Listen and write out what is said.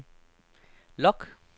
log